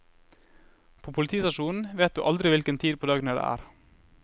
På politistasjonen vet du aldri hvilken tid på døgnet det er.